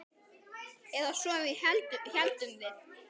Eða svo héldum við.